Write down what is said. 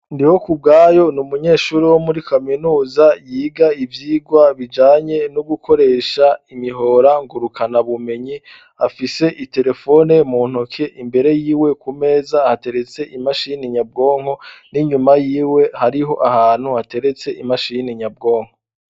Ndihokubwayo ni umunyeshuri wo muri kaminuza yiga ivyigwa bijanye no gukoresha imihora ngurukanabumenyi, afise iterefone mu ntoke imbere yiwe ku meza hateretse imashini nyabwonko, n'inyuma yiwe hariho ahantu hateretse imashini nyabwonko.